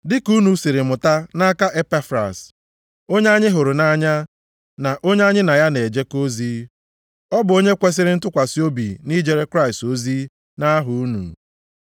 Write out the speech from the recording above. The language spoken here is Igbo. Dị ka unu siri mụta nʼaka Epafras, onye anyị hụrụ nʼanya na onye anyị na ya na-ejekọ ozi. Ọ bụ onye kwesiri ntụkwasị obi nʼijere Kraịst ozi nʼaha unu.